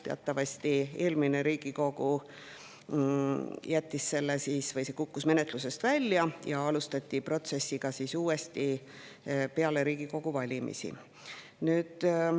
Teatavasti jäi eelmisel Riigikogul see, see kukkus menetlusest välja ja seda protsessi alustati peale Riigikogu valimisi uuesti.